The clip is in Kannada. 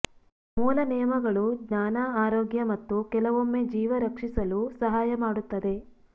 ಮೂಲ ನಿಯಮಗಳು ಜ್ಞಾನ ಆರೋಗ್ಯ ಮತ್ತು ಕೆಲವೊಮ್ಮೆ ಜೀವ ರಕ್ಷಿಸಲು ಸಹಾಯ ಮಾಡುತ್ತದೆ